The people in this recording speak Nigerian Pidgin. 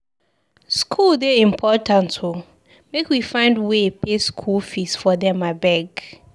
Skool dey important o, make we find way pay skool fees for them abeg.